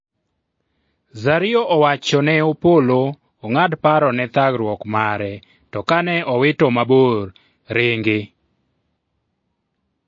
Zario owachone Opolo ong'ad paro ne thagruok mare to kane owito mabor Ringi,